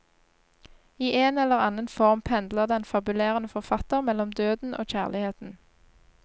I en eller annen form pendler den fabulerende forfatter mellom døden og kjærligheten.